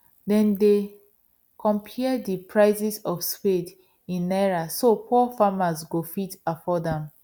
them dey compare the prices of spade in naira so poor farmers go fit afford am